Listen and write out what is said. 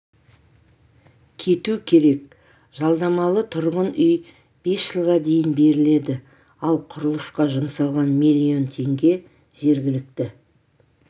кету керек жалдамалы тұрғын үй бес жылға дейін беріледі ал құрылысқа жұмсалған млн теңге жергілікті